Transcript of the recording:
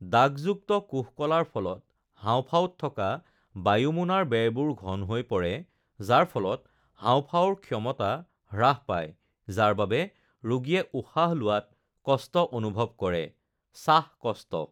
দাগযুক্ত কোষকলাৰ ফলত হাঁওফাঁওত থকা বায়ুমোনাৰ বেৰবোৰ ঘন হৈ পৰে, যাৰ ফলত হাওঁফাওঁৰ ক্ষমতা হ্ৰাস পায় যাৰ বাবে ৰোগীয়ে উশাহ লোৱাত কষ্ট অনুভৱ কৰে (শ্বাসকষ্ট)৷